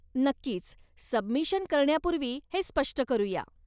नक्कीच, सबमिशन करण्यापूर्वी हे स्पष्ट करूया.